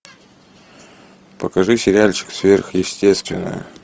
покажи сериальчик сверхъестественное